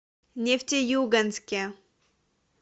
нефтеюганске